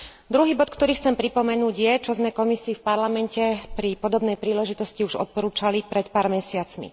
Druhý bod, ktorý chcem pripomenúť, je to, čo sme Komisii v Parlamente pri podobnej príležitosti už odporúčali pred pár mesiacmi.